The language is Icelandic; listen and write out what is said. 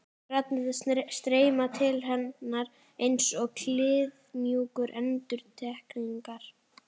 Raddirnar streyma til hennar einsog kliðmjúkar endurtekningar.